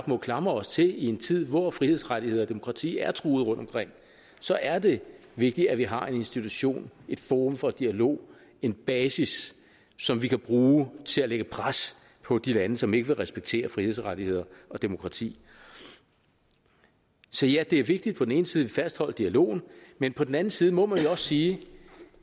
må klamre os til i en tid hvor frihedsrettigheder og demokrati er truet rundtomkring så er det vigtigt at vi har en institution et forum for dialog en basis som vi kan bruge til at lægge pres på de lande som ikke vil respektere frihedsrettigheder og demokrati så ja det er vigtigt på den ene side fastholder dialogen men på den anden side må man også sige